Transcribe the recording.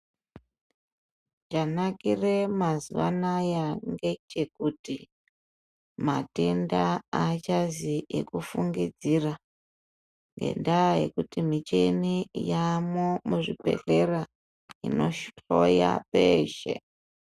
Chanakire mazuva anaya ngechekuti matenda aachazi ekufungidzira ngendaa yekuti michini yaamwo muzvibhedhlera inohloya peeshe.